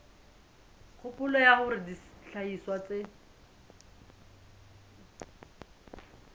kgopolo ya hore dihlahiswa tse